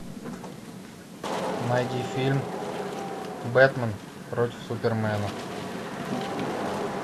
найди фильм бэтмен против супермена